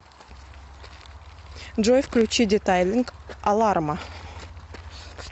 джой включи детайлинг аларма